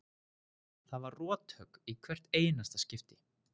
Það var rothögg í hvert einasta skipti.